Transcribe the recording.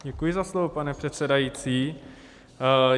Děkuji za slovo, pane předsedající.